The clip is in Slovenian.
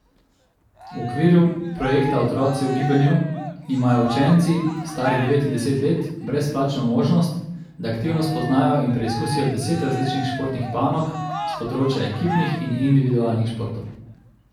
V okviru projekta Otroci v gibanju imajo učenci, stari devet in deset let, brezplačno možnost, da aktivno spoznajo in preizkusijo deset različnih športnih panog s področja ekipnih in individualnih športov.